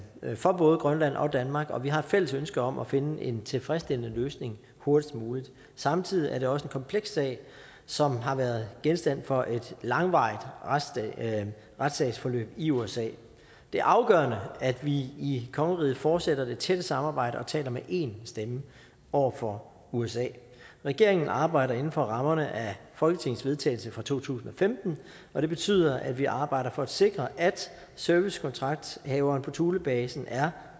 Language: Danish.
for både grønland og danmark og vi har et fælles ønske om at finde en tilfredsstillende løsning hurtigst muligt samtidig er det også en kompleks sag som har været genstand for et langvarigt retssagsforløb i usa det er afgørende at vi i kongeriget fortsætter det tætte samarbejde og taler med én stemme over for usa regeringen arbejder inden for rammerne af folketingets vedtagelse fra to tusind og femten og det betyder at vi arbejder for at sikre at servicekontrakthaveren på thulebasen er